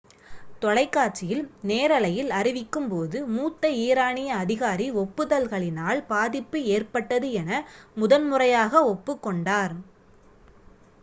தொலைக்காட்சியில் நேரலையில் அறிவிக்கும்போது மூத்த ஈரானிய அதிகாரி ஒப்புதல்களினால் பாதிப்பு ஏற்பட்டது என முதன்முறையாக ஒப்புக்கொண்டார்